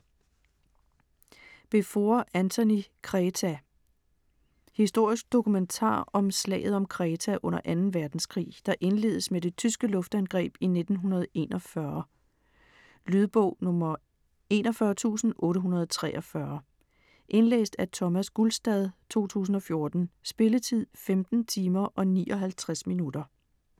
Beevor, Antony: Kreta Historisk dokumentar om slaget om Kreta under Anden verdenskrig, der indledes med det tyske luftangreb i 1941. Lydbog 41843 Indlæst af Thomas Gulstad, 2014. Spilletid: 15 timer, 59 minutter.